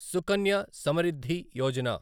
Sukanya Samriddhi Yojana